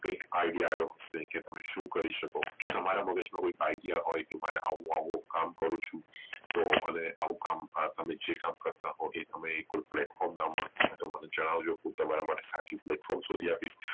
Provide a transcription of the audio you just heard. કૈક idea આયો હશે કે તમે શું કરી શકો જો તમારા મગજ માં કોઈક idea હોઈ કે હું આવું આવું કામ કરું ચુ તો હવે આવું કામ તમે જે કામ કરતા હોઈ આ તમે કોઈક ને જણાવજો શું તમને સાચું pletform શોધી આપીશ